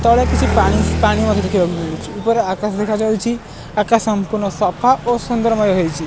ତଳେ କିଛି ପାଣି ପାଣି ମଧ୍ୟ ଦେଖିବାକୁ ମିଳୁଛି ଉପରେ ଆକାଶ ଦେଖାଯାଉଛି ଆକାଶ ସଂପୂର୍ଣ୍ଣ ସଫା ଓ ସୁନ୍ଦରମୟ ହେଇଚି।